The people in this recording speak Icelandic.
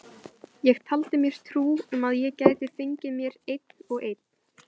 Ég taldi mér trú um að ég gæti fengið mér einn og einn.